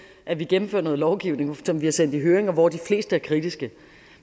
at vi gennemfører noget lovgivning som vi har sendt i høring hvor de fleste kritiske